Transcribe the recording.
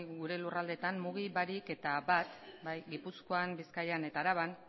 gure lurraldeetan mugi barik eta bat gipuzkoan bizkaian eta araban